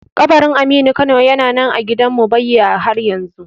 Kabarin aminu kano na nan a gidan mumbbayya haryanzu